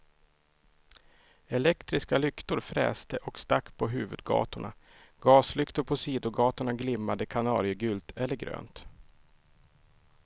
Elektriska lyktor fräste och stack på huvudgatorna, gaslyktor på sidogatorna glimmade kanariegult eller grönt.